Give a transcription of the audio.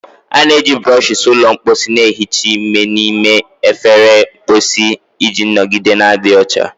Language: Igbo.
A na-eji brushes ụlọ mposi na-ehicha ime n'ime efere mposi iji nọgide na-adị ọcha.